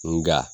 Nga